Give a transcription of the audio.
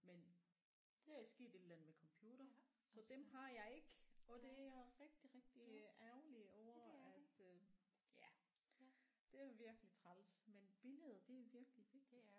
Men der er sket et eller andet med computer så dem har jeg ikke og det er jeg rigtig rigtig ærgerlig over at øh ja det er virkelig træls men billeder det er virkelig vigtigt